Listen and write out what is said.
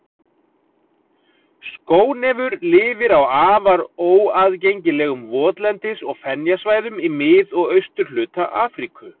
Skónefur lifir á afar óaðgengilegum votlendis- og fenjasvæðum í mið- og austurhluta Afríku.